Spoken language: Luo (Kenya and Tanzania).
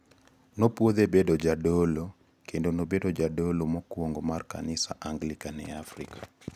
Nopwodhe bedo jadolo kendo nobedo jadolo mokuongo mar kanis Anglican e Afrika.